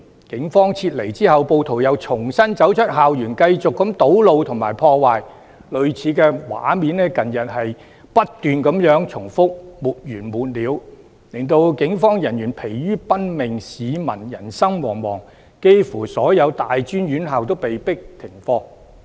警方撤離後，暴徒又重新走出校園繼續堵路和破壞，類似的畫面在近日不斷重複，沒完沒了，令警方疲於奔命，市民人心惶惶，幾乎所有大專院校均被迫停課。